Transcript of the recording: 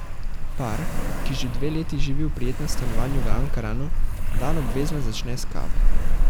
Par, ki že dve leti živi v prijetnem stanovanju v Ankaranu, dan obvezno začne s kavo.